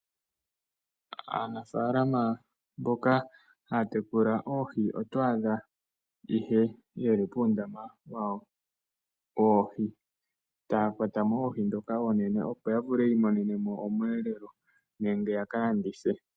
Aanafalama mboka haa tekula oohi otwaa dha ihe yeli puundama wawo woohi, taa kwatamo oohi dhoka oonene opo yavule yii monenemo omweelelo nenge ya kalandithe.